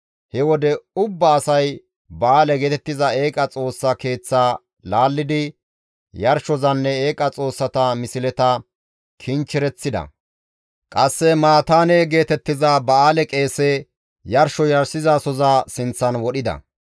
He wode ubba asay ba7aale geetettiza eeqa xoossa keeththa laallidi yarshozanne eeqa xoossata misleta kinchchereththida; qasse Mataane geetettiza ba7aale qeese yarsho yarshizasoza sinththan wodhida.